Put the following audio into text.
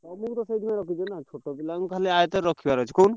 ତମକୁ ତ ସେଇଠି ପାଇଁ ରଖିଛି ଛୋଟ ପିଲାଙ୍କୁ ଆୟତରେ ରଖିବାର ଅଛି କହୁନୁ।